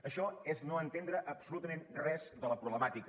això és no entendre absolutament res de la problemàtica